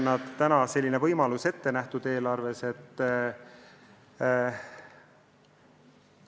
Aga selline võimalus on eelarves ette nähtud.